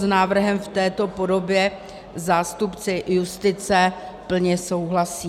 S návrhem v této podobě zástupci justice plně souhlasí.